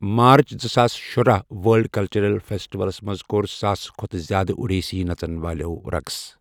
مارٕچ زٕ ساس شرُاہ وٲرلڈ کلچرل فیٚسٹِوَلس منٛز کوٚر ساسہٕ کھۄتہٕ زیادٕ اُڈیسی نژن والٮ۪و رقص ۔